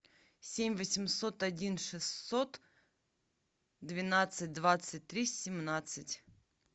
семь восемьсот один шестьсот двенадцать двадцать три семнадцать